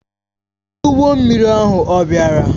Onye ụgbọ mmiri ahụ ọ̀ bịara?